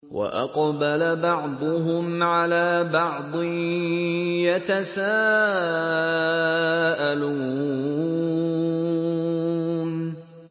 وَأَقْبَلَ بَعْضُهُمْ عَلَىٰ بَعْضٍ يَتَسَاءَلُونَ